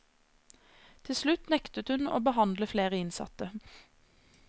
Til slutt nektet hun å behandle flere innsatte.